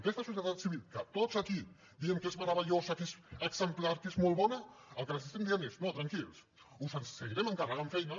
aquesta societat civil que tots aquí diem que és meravellosa que és exemplar que és molt bona el que els estem dient és no tranquils us seguirem encarregant feina